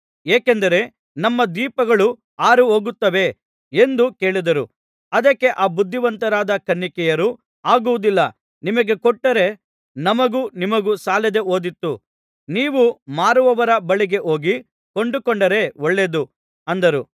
ಏಕೆಂದರೆ ನಮ್ಮ ದೀಪಗಳು ಆರಿಹೋಗುತ್ತವೆ ಎಂದು ಕೇಳಿದರು ಅದಕ್ಕೆ ಆ ಬುದ್ಧಿವಂತರಾದ ಕನ್ನಿಕೆಯರು ಆಗುವುದಿಲ್ಲ ನಿಮಗೆ ಕೊಟ್ಟರೆ ನಮಗೂ ನಿಮಗೂ ಸಾಲದೆ ಹೋದೀತು ನೀವು ಮಾರುವವರ ಬಳಿಗೆ ಹೋಗಿ ಕೊಂಡುಕೊಂಡರೆ ಒಳ್ಳೆಯದು ಅಂದರು